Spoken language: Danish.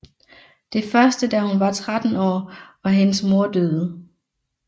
Det første da hun var 13 år og hendes mor døde